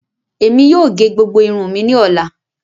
Ẹmi yóò gé gbogbo irun mi ni ọla.